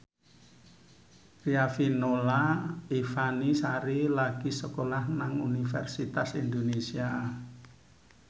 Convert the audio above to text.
Riafinola Ifani Sari lagi sekolah nang Universitas Indonesia